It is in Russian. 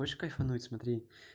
хочешь кайфануть смотри